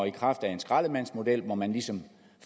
i kraft af en skraldemandsmodel hvor man ligesom